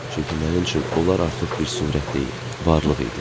Çünki mənim üçün onlar artıq bir surət deyil, varlıq idi.